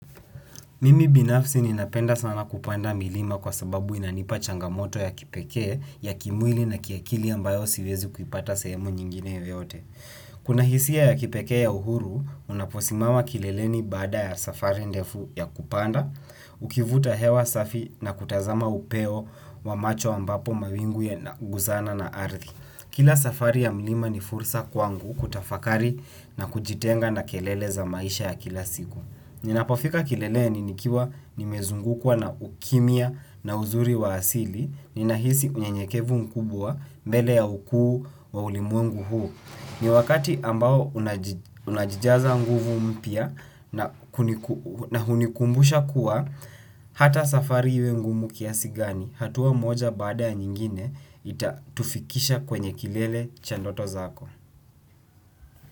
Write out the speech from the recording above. Mimi binafsi ninapenda sana kupanda milima kwa sababu inanipa changamoto ya kipekee ya kimwili na kiakili ambayo siwezi kuipata sehemu nyingine yoyote. Kuna hisia ya kipekee ya uhuru, unaposimama kileleni baada ya safari ndefu ya kupanda, ukivuta hewa safi na kutazama upeo wa macho ambapo mawingu yana guzana na ardhi. Kila safari ya mlima ni fursa kwangu kutafakari na kujitenga na kelele za maisha ya kila siku. Ninapofika kilele ni nikiwa nimezungukwa na ukimya na uzuri wa asili, ninahisi unye nyekevu mkubwa mbele ya ukuu wa ulimwengu huu. Ni wakati ambao unajijaza nguvu mpya na hunikumbusha kuwa hata safari iwe ngumu kiasi gani, hatuwa moja baada ya nyingine itatufikisha kwenye kilele chandoto zako.